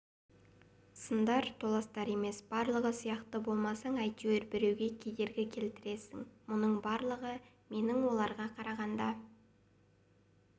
сындар толастар емес барлығы сияқты болмасаң әйтеуір біреуге кедергі келтіресің мұның барлығы менің оларға қарағанда